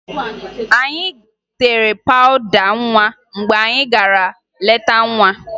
Anyị tere pawụda nwa mgbe anyị gara leta nwa